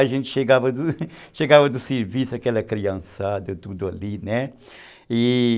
A gente chegava do serviço, aquela criançada, tudo ali, né? E